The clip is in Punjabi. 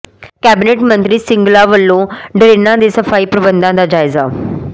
ਕੈਬਨਿਟ ਮੰਤਰੀ ਸਿੰਗਲਾ ਵੱਲੋਂ ਡਰੇਨਾਂ ਦੇ ਸਫ਼ਾਈ ਪ੍ਰਬੰਧਾਂ ਦਾ ਜਾਇਜ਼ਾ